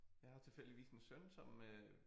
Jeg har jo tilfældigvis en søn som øh